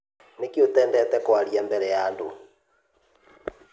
Nĩkĩ ũtendete kwaria mbere ya andũ?